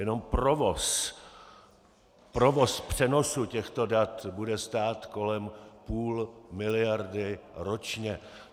Jenom provoz, provoz přenosu těchto dat bude stát kolem půl miliardy ročně.